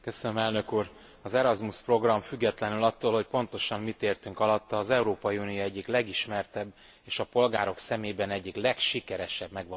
Az Erasmus program függetlenül attól, hogy pontosan mit értünk alatta az Európai Unió egyik legismertebb és a polgárok szemében egyik legsikeresebb megvalósítása.